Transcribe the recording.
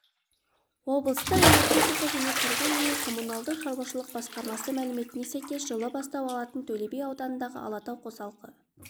облыстық энергетика және тұрғын-үй коммуналдық шаруашылық басқармасы мәліметіне сәйкес жылы бастау алатын төлеби ауданындағы алатау қосалқы